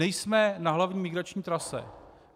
Nejsme na hlavní migrační trase.